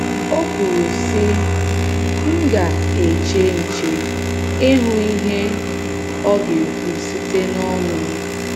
O kwuru, sị um: “ M um ga - eche um nche, ịhụ ihe Ọ ga - ekwu site n'ọnụ m.